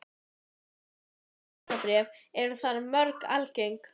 Viðskipti með hlutabréf eru þar mjög algeng.